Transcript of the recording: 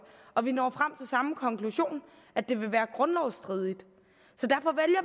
og vi når frem samme konklusion at det vil være grundlovsstridigt så derfor